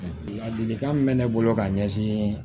Ladilikan min bɛ ne bolo ka ɲɛsin